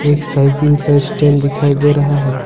एक साइकिल का स्टैंड दिखाई दे रहा है।